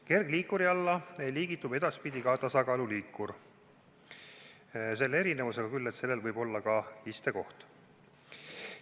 Kergliikuri alla liigitub edaspidi ka tasakaaluliikur, selle erinevusega küll, et sellel võib olla ka istekoht.